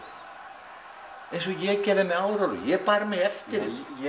eins og ég gerði með Árelíu ég bar mig eftir henni